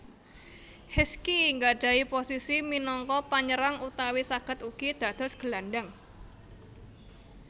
Heskey nggadhahi posisi minangka panyerang utawi saged ugi dados gelandhang